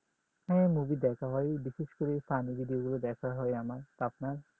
হ্যাঁ মুভি দেখা হয় বিশেষ করে তামিললির এগুলো দেখা হয় আমার আপনার